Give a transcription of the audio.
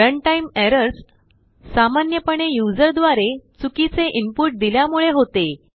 runtime errorsसामान्यपणेयूज़र द्वारे चुकीचे इनपुट दिल्यामुळे होते